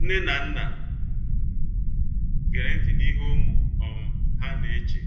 Nne na nna gere nti n'ihe ụmụ um ha na-eche